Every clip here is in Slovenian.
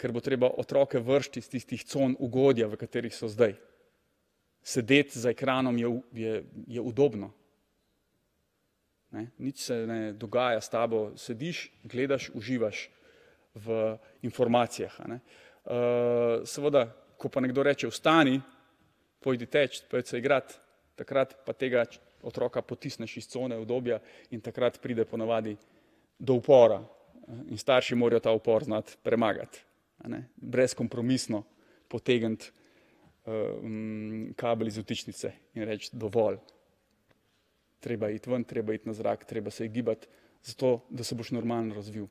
ker bo treba otroke vreči iz tistih con ugodja, v katerih so zdaj. Sedeti za ekranom je je, je udobno. Ne, nič se ne dogaja s tabo, sediš, gledaš, uživaš v informacijah, a ne. seveda, ko pa nekdo reče: "Vstani, pojdi teči, pojdi se igrat," takrat pa tega otroka potisneš iz cone udobja in takrat pride ponavadi do upora. In starši morajo ta upor znati premagati, a ne, brezkompromisno potegniti, kabel iz vtičnice in reči: "Dovolj." Treba iti ven, treba iti na zrak, treba se iti gibat. Zato, da se boš normalno razvil.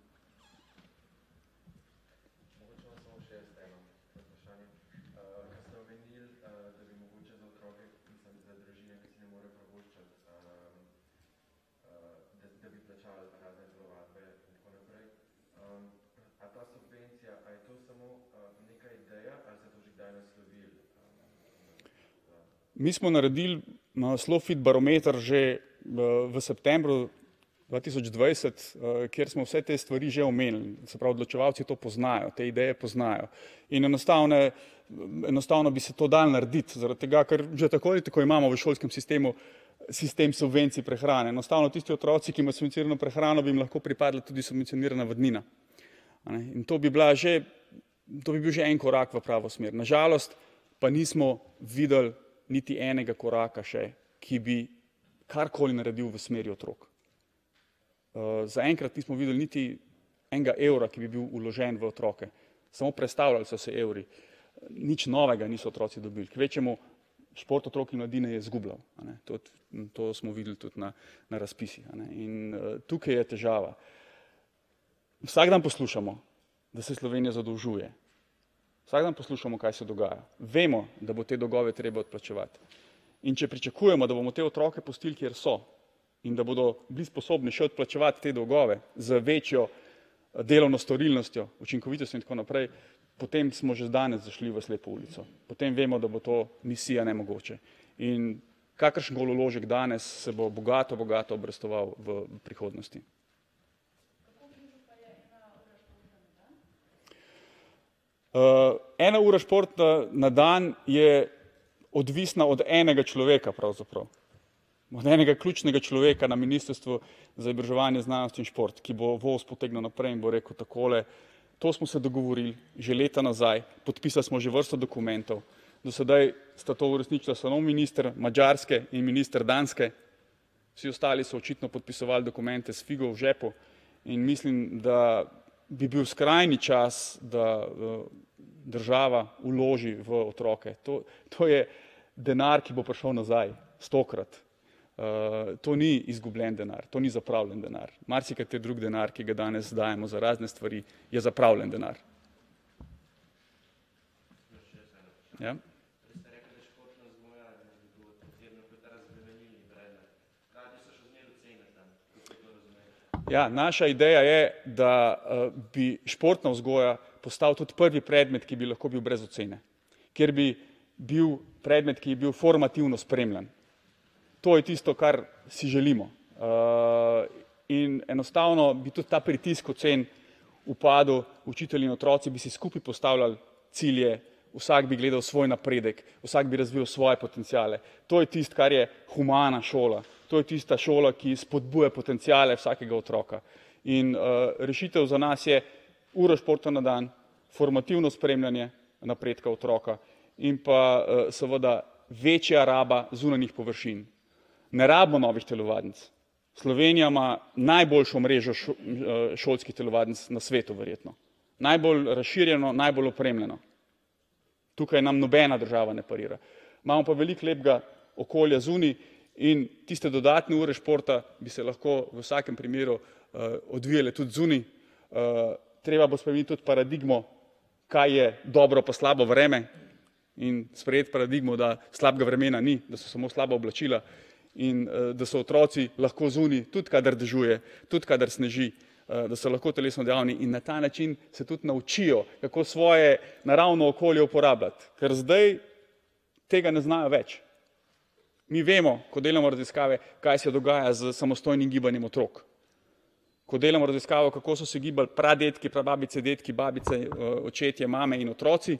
Mi smo naredili na Slofit barometer že, v septembru dva tisoč dvajset, kjer smo vse te stvari že omenili, se pravi odločevalci to poznajo, te ideje poznajo in enostavne, enostavno bi se to dalo narediti zaradi tega, ker že tako in tako imamo v šolskem sistemu sistem subvencije prehrane, enostavno tisti otroci, ki imajo subvencionirano prehrano, bi jih lahko pripadala tudi subvencionirana vadnina. A ne, in to bi bila že, to bi bil že en korak v pravo smer, na žalost pa nismo videli niti enega koraka še, ki bi karkoli naredil v smeri otrok. zaenkrat nismo videli niti enega evra, ki bi bil vložen v otroke. Samo prestavljali so se evri, nič novega niso otroci dobili, kvečjemu šport otrok in mladine je izgubljal, a ne, tudi to smo videli tudi na, na razpisih, a ne in, tukaj je težava. Vsak dan poslušamo, da se Slovenija zadolžuje, vsak dan poslušamo, kaj se dogaja, vemo, da bo te dolgove treba odplačevati, in če pričakujemo, da bomo te otroke pustili, kjer so, in da bodo bili sposobni še odplačevati te dolgove z večjo, delovno storilnostjo, učinkovitostjo in tako naprej, potem smo že danes zašli v slepo ulico. Potem vemo, da bo to misija nemogoče. In kakršen koli vložek danes se bo bogato, bogato obrestoval v v prihodnosti. ena ura športa na dan je odvisna od enega človeka pravzaprav. Od enega ključnega človeka na ministrstvu za izobraževanje, znanost in šport, ki bo voz potegnil naprej in bo rekel takole: "To smo se dogovorili že leta nazaj, podpisali smo že vrsto dokumentov." Do sedaj sta to uresničila samo minister Madžarske in minister Danske. Vsi ostali so očitno podpisovali dokumente s figo v žepu. In mislim, da bi bil skrajni čas, da, država vloži v otroke to, to je denar, ki bo prišel nazaj stokrat. to ni izgubljen denar, to ni zapravljen denar. Marsikateri drug denar, ki ga danes dajemo za razne stvari, je zapravljen denar. Ja. Ja, naša ideja je, da, bi športna vzgoja postal tudi prvi predmet, ki bi lahko bil brez ocene. Ker bi bil predmet, ki bi bil formativno spremljan. To je tisto, kar si želimo. in enostavno bi tudi ta pritisk ocen upadel, učitelji in otroci bi si skupaj postavljali cilje, vsak bi gledal svoj napredek, vsak bi razvijal svoje potenciale, to je tisto, kar je humana šola. To je tista šola, ki spodbuja potenciale vsakega otroka. In, rešitev za nas je uro športa na dan, formativno spremljanje napredka otroka in pa, seveda večja raba zunanjih površin. Ne rabimo novih telovadnic. Slovenija ima najboljšo mrežo šolskih telovadnic na svetu verjetno. Najbolj razširjeno, najbolj opremljeno. Tukaj nam nobena država ne parira. Imamo pa veliko lepega okolja zunaj in tiste dodatne ure športa bi se lahko v vsakem primeru, odvijale tudi zunaj. treba bo spremeniti tudi paradigmo, kaj je dobro pa slabo vreme, in sprejeti paradigme, da slabega vremena ni, da so samo slaba oblačila. In, da so otroci lahko zunaj, tudi kadar dežuje, tudi kadar sneži, da so lahko telesno dejavni. In na ta način se tudi naučijo, kako svoje naravno okolje uporabljati, ker zdaj tega ne znajo več. Mi vemo, ko delamo raziskave, kaj se dogaja s samostojnim gibanjem otrok. Ko delamo raziskave, kako so se gibali pradedki, prababice, dedki, babice, očetje, mame in otroci,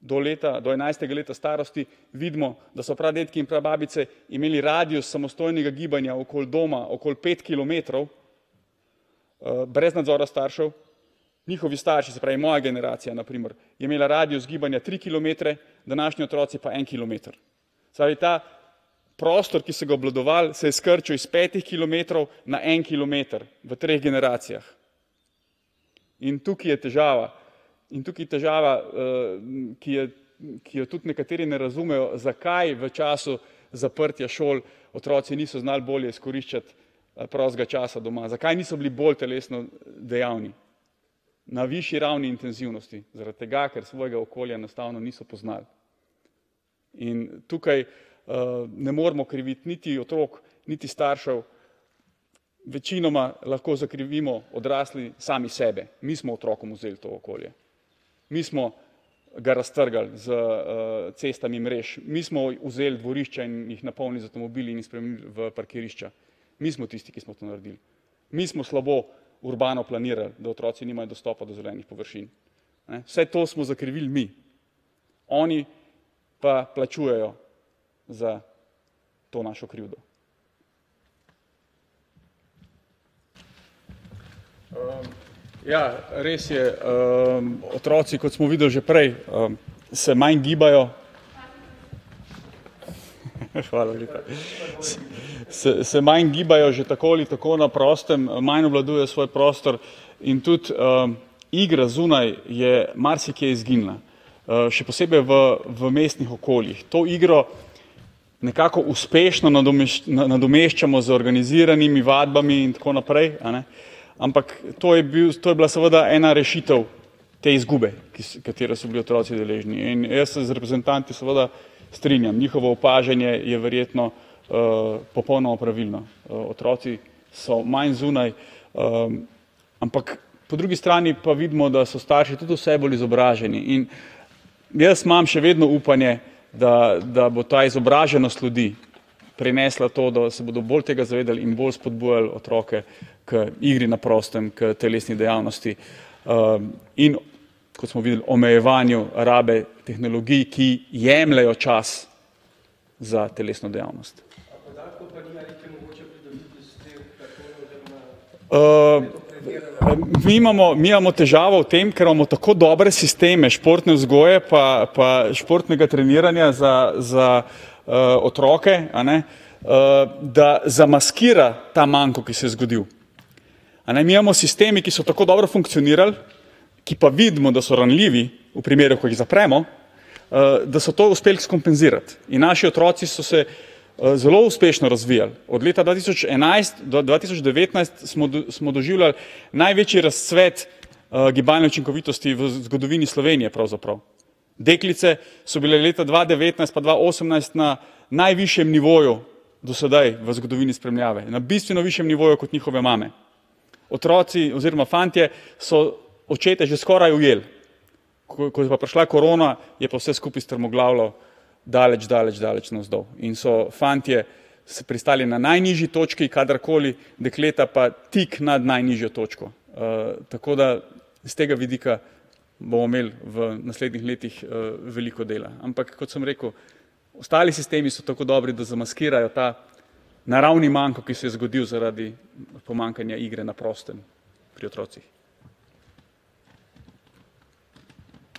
do leta do enajstega leta starosti, vidimo, da so pradedki in prababice imeli radius samostojnega gibanja okoli doma okoli pet kilometrov, brez nadzora staršev. Njihovi starši, se pravi, moja generacija na primer, je imela radius gibanja tri kilometre, današnji otroci pa en kilometer. Se pravi, ta prostor, ki so ga obvladovali, se je skrčil iz petih kilometrov na en kilometer v treh generacijah. In tukaj je težava, in tukaj je težava, ki je, ki jo tudi nekateri ne razumejo, zakaj v času zaprtja šol otroci niso znali bolje izkoriščati, prostega časa doma, zakaj niso bili bolj telesno dejavni. Na višji ravni intenzivnosti, zaradi tega, ker svojega okolja enostavno niso poznali. In tukaj, ne moremo kriviti niti otrok niti staršev. Večinoma lahko zakrivimo odrasli same sebe, mi smo otrokom vzeli ta okolje. Mi smo, ga raztrgali s, cestami mrež, mi smo vzeli dvorišča in jih napolnili z avtomobili in spremenili v parkirišča. Mi smo tisti, ki smo to naredili. Mi smo slabo urbano planirali, da otroci nimajo dostopa do zelenih površin, ne, vse to smo zakrivili mi. Oni pa plačujejo za to našo krivdo. ja, res je, otroci, kot smo videli že prej, se manj gibajo ... Hvala lepa, se manj gibajo že tako ali tako na prostem, manj obvladujejo svoj prostor in tudi, igra zunaj je marsikje izginila. še posebej v v mestnih okoljih to igro nekako uspešno nadomeščamo z organiziranimi vadbami in tako naprej, a ne? Ampak to je bil, to je bila seveda ena rešitev te izgube, ki katere so bili otroci deležni, in jaz se z reprezentanti seveda strinjam, njihovo opažanje je verjetno, popolnoma pravilno, otroci so manj zunaj, ampak po drugi strani pa vidimo, da so starši tudi vse bolje izobraženi in jaz imam še vedno upanje, da, da bo ta izobraženost ljudi prinesla to, da se bodo bolj tega zavedali in bolj spodbujali otroke k igri na prostem, k telesni dejavnosti, in, kot smo videli, omejevanju rabe tehnologij, ki jemljejo čas za telesno dejavnost. mi imamo, mi imamo težavo v tem, ker imamo tako dobre sisteme športne vzgoje pa pa športnega treniranja za, za, otroke, a ne, da zamaskira ta manko, ki se je zgodil, a ne. Mi imamo sisteme, ki so tako dobro funkcionirali, ki pa vidimo, da so ranljivi v primeru, ko jih zapremo, da so to uspeli skompenzirati in naši otroci so se, zelo uspešno razvijali od leta dva tisoč enajst do dva tisoč devetnajst smo smo doživljali največji razcvet, gibalne učinkovitosti v zgodovini Slovenije pravzaprav. Deklice so bile leta dva devetnajst pa dva osemnajst na najvišjem nivoju do sedaj v zgodovini spremljave in na bistveno višjem nivoju kot njihove mame. Otroci oziroma fantje so očete že skoraj ujeli. Ko, ko je pa prišla korona, je pa vse skupaj strmoglavilo daleč, daleč, daleč navzdol in so fantje se pristali na najnižji točki, kadarkoli, dekleta pa tik nad najnižjo točko. tako da iz tega vidika bomo imeli v naslednjih letih, veliko dela, ampak kot sem rekel, ostali sistemi so tako dobri, da zamaskirajo ta naravni manko, ki se je zgodil zaradi pomanjkanja igre na prostem pri otrocih.